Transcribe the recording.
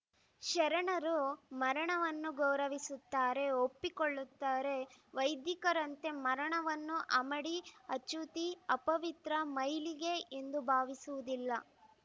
ಶರಣರು ಮರಣವನ್ನು ಗೌರವಿಸುತ್ತಾರೆ ಒಪ್ಪಿಕೊಳ್ಳುತ್ತಾರೆ ವೈದಿಕರಂತೆ ಮರಣವನ್ನು ಅಮಡಿ ಅಶುಚಿ ಅಪವಿತ್ರ ಮೈಲಿಗೆ ಎಂದು ಭಾವಿಸುವುದಿಲ್ಲ